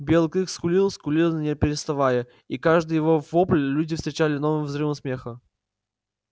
белый клык скулил скулил не переставая и каждый его вопль люди встречали новым взрывом смеха